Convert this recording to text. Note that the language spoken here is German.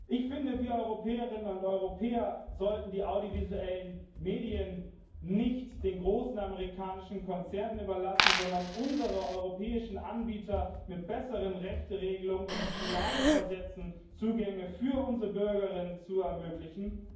Ich finde, wir Europäerinnen und Europäer sollten die audiovisuellen Medien nicht den großen amerikanischen Konzernen überlassen, sondern unsere europäischen Anbieter mit besseren Rechteregelungen in die Lage versetzen, Zugänge für unsere Bürgerinnen und Bürger zu ermöglichen.